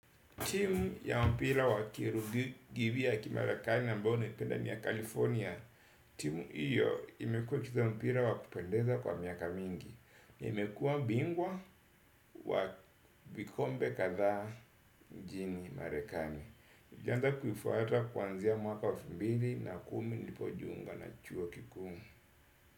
Timu ya mpira wa kimarekani ambao naipenda ni ya California. Timu hiyo imekuwa ikicheza mpira wa kupendeza kwa miaka mingi. Imekuwa bingwa wa vikombe kadhaa nchini marekani nilianza kuifuata kuanzia mwaka wa elfu mbili na kumi nilipojiunga na chuo kikuu.